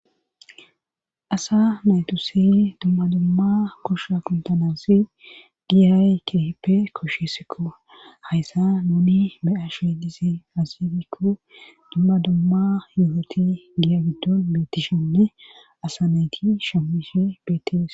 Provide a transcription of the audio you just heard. Asa naytusi dumma dumma kushsa kuntanawusi giyay kehipe koshesikko hayssa nuni beyashe disi azifikko dummadumma yuhoti giya biddon betishenne asa nayti shamishe betihes